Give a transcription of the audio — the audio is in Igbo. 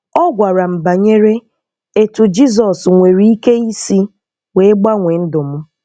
Ọ gwara m banyere etu Jizọs nwere ike isi wee gbanwee ndụ m.